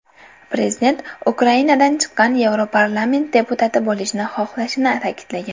Prezident Ukrainadan chiqqan Yevroparlament deputati bo‘lishni xohlashini ta’kidlagan.